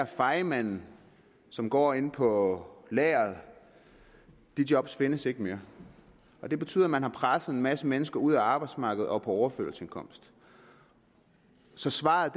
fejemanden som går inde på lageret de job findes ikke mere det betyder at man har presset en masse mennesker ud af arbejdsmarkedet og over på overførselsindkomst så svaret